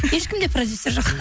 ешкімде продюсер жоқ